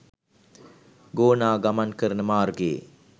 ගෝනා ගමන් කරන මාර්ගයේ